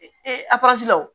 Ee a la o